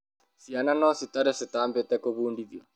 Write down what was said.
Ciana no citare citambĩte gũbũndithwa